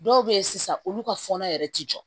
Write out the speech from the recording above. Dɔw bɛ yen sisan olu ka fɔnɔ yɛrɛ tɛ jɔ